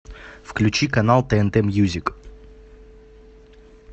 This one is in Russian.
включи канал тнт мьюзик